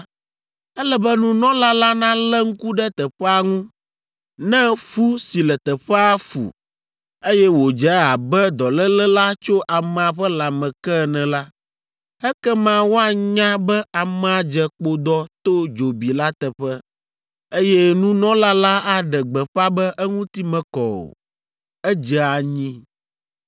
ele be nunɔla la nalé ŋku ɖe teƒea ŋu. Ne fu si le teƒea fu, eye wòdze abe dɔléle la tso amea ƒe lãme ke ene la, ekema woanya be amea dze kpodɔ to dzobi la teƒe, eye nunɔla la aɖe gbeƒã be eŋuti mekɔ o, edze anyi.